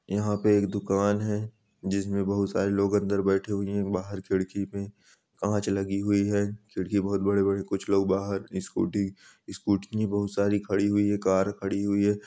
यहाँ पे एक दुकान है जिसमे बहुत सारे लोग अंदर बैठे हुए है बारह पे चाक लगी हुई है खिड़की बहुत बड़े-बड़े कुछ लोग बारह स्कूटी स्कूटी भी बहुत सारी खड़ी हुई है कार खड़ी हुई है।